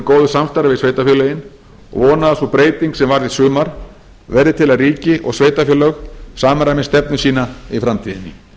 góðu samstarfi við sveitarfélögin og vona að sú breyting sem varð í sumar verði til að ríki og sveitarfélög samræmi stefnu sína í framtíðinni